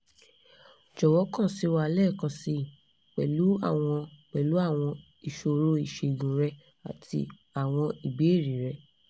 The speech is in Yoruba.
jọ̀wọ́ kàn sí wa lẹ́ẹ̀kan síi pẹ̀lú àwọn pẹ̀lú àwọn ìṣòro ìṣègùn rẹ àti àwọn ìbéèrè rẹ